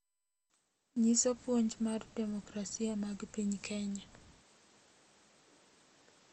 Nyiso puonj mag demokrasia mag piny Kenya